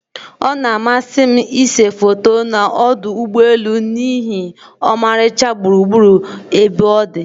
Ọ na-amasị m ịse foto na ọdụ ụgbọelu n'ihi ọmarịcha gburugburu ebe ọdi.